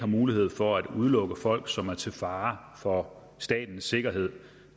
mulighed for at udelukke folk som er til fare for statens sikkerhed